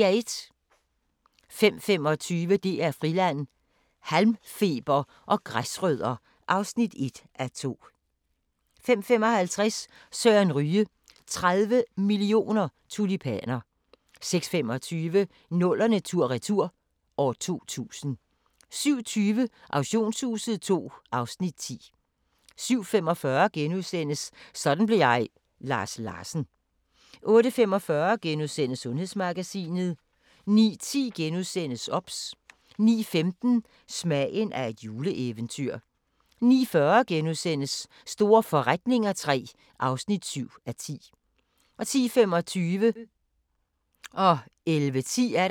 05:25: DR Friland: Halmfeber og græsrødder (1:2) 05:55: Søren Ryge: 30 mio. tulipaner 06:25: 00'erne tur-retur: 2000 07:20: Auktionshuset (2:10) 07:45: Sådan blev jeg – Lars Larsen * 08:45: Sundhedsmagasinet * 09:10: OBS * 09:15: Smagen af et juleeventyr 09:40: Store forretninger III (7:10)* 10:25: Antikkrejlerne